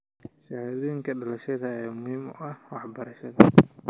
Shahaadooyinka dhalashada ayaa muhiim u ah waxbarashada.